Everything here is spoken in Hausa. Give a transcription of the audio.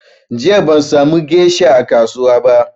Jiya ban sa mu gesha a kasuwa ba